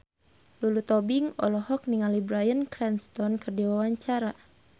Lulu Tobing olohok ningali Bryan Cranston keur diwawancara